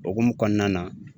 Hokumu kɔnɔna na